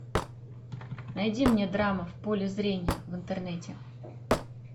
найди мне драма в поле зрения в интернете